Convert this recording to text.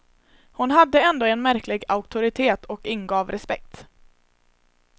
Hon hon hade ändå en märklig auktoritet och ingav respekt.